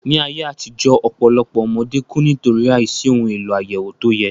Ní ayé àtijó, ọpọlọpoọ ọmọdé ku\ ni\tòrí àìsí ohun èlò àyẹ̀wò tó yẹ